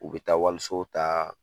U be taa waliso taa